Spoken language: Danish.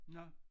Nå